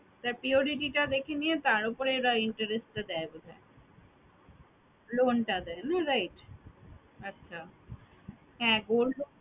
তা purity টা দেখে নিয়ে তার উপরে তারা interest টা দেয় বোধহয় loan টা দেয় না right আচ্ছে হ্যাঁ gold loan